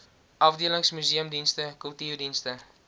afdelings museumdienste kultuurdienste